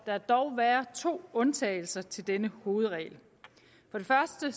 der dog være to undtagelser til denne hovedregel for det første